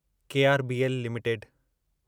KRBL limited